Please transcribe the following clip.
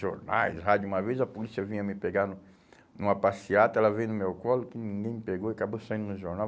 Jornais, rádio, uma vez a polícia vinha me pegar numa passeata, ela veio no meu colo, que ninguém me pegou, acabou saindo no jornal.